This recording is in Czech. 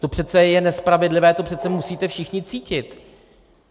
To je přece nespravedlivé, to přece musíte všichni cítit.